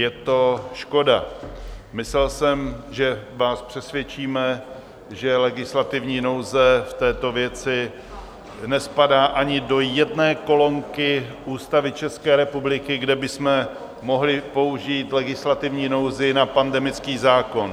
Je to škoda, myslel jsem, že vás přesvědčíme, že legislativní nouze v této věci nespadá ani do jedné kolonky Ústavy České republiky, kde bychom mohli použít legislativní nouzi na pandemický zákon.